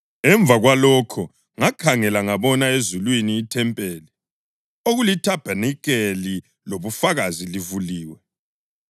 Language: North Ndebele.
Emva kwalokhu ngakhangela ngabona ezulwini ithempeli, okulithabanikeli lobufakazi livuliwe.